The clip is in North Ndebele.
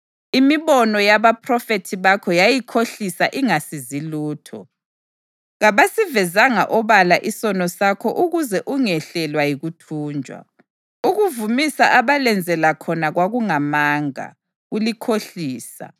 Imibono yabaphrofethi bakho yayikhohlisa ingasizi lutho; kabasivezanga obala isono sakho ukuze ungehlelwa yikuthunjwa. Ukuvumisa abalenzela khona kwakungamanga, kulikhohlisa.